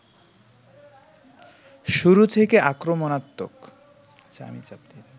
শুরু থেকে আক্রমণাত্মক